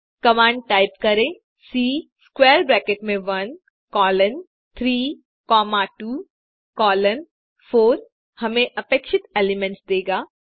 command type करें C square bracket में 1 colon 3 comma 2 colon 4 हमें अपेक्षित एलिमेंट्स देगा